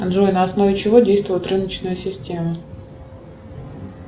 джой на основе чего действует рыночная система